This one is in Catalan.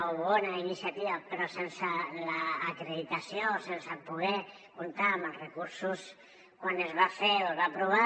o bona iniciativa però sense l’acreditació o sense poder comptar amb els recursos quan es va fer o es va aprovar